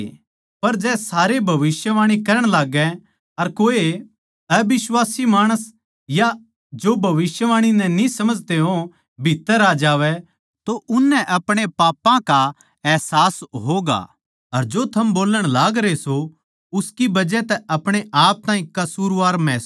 पर जै सारे भविष्यवाणी करण लाग्गे अर कोए अबिश्वासी माणस या जो भविष्यवाणी नै न्ही समझते हो भीत्त्तर आ जावै तो उननै अपणे पापां का अहसास होगा अर जो थम बोल्लण लागरे सों उसकी बजह तै अपणे आप ताहीं कसूरवार महसूस करैंगें